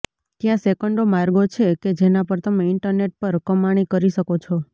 ત્યાં સેંકડો માર્ગો છે કે જેના પર તમે ઇન્ટરનેટ પર કમાણી કરી શકો છો